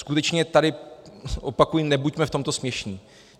Skutečně tady opakuji, nebuďme v tomto směšní.